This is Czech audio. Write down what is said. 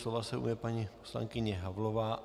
Slova se ujme paní poslankyně Havlová.